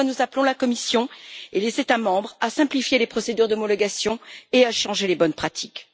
C'est pourquoi nous appelons la Commission et les États membres à simplifier les procédures d'homologation et à changer les bonnes pratiques.